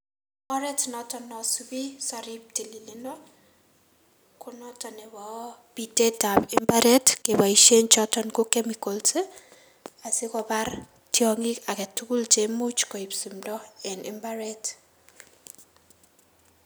Oret noton nosubi sorib tililindo konoton nebo pitetab mbaret keboisien choton ko chemicals ii asikobar tiong'ik agetugul cheimuch koib simdo en mbaret.